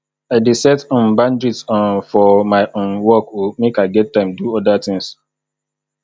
i dey set um boundaries um for my um work o make i get time do oda tins